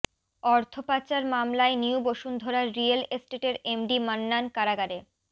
অর্থপাচার মামলায় new Bashundhara real এস্টেটের MD Mannan কারাগারে